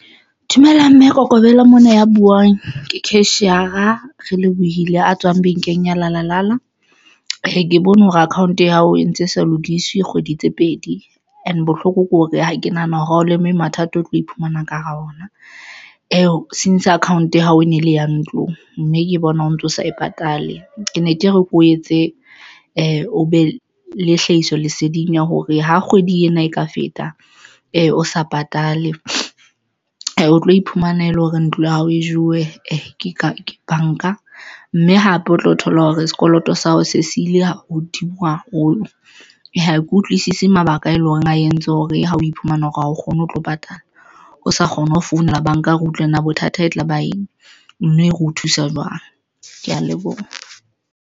Dumela Mme Kokobela mona ya buwang ke cashier-a Relebohile a tswang bankeng ya Lalala. Ke bone hore account ya hao e ntse e sa lokiswe kgwedi tse pedi and bohloko ke hore ha ke nahana hore ha o leme mathata, o tlo iphumana ka hara ona eo since account ya hao o ne le ya ntlong mme ke bona o ntso sa e patale. Ke ne ke re ke o etse e o be le hlahiso leseding ya hore ha kgwedi ena e ka feta e o sa patale, o tlo iphumana ele hore ntlo ya hao e jewe ke banka, mme hape o tlo thola hore sekoloto sa hao se siile hodimo ha haholo. Ha ke utlwisisi mabaka e leng hore a entse hore ha o iphumana hore a kgone ho tlo patala o sa kgone ho founela banka re utlwe na bothata e tlaba eng mme re o thusa jwang. Ke ya leboha.